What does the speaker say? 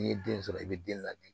N'i ye den sɔrɔ i bɛ den ladi